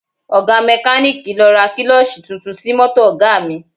Ọ̀ga mẹ́kalíìkì lọ ra kílọ́ọ̀ṣì tuntun sí mọ́tò Ọ̀ga mi